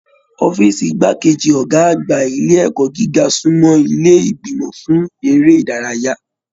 Ọ̀fiísí igbákejì Ọgá àgbà ilé ẹ̀kọ́ gíga sunmọ ilé ìgbìmọ̀ fún eré ìdárayá.